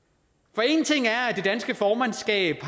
for en ting er at det danske formandskab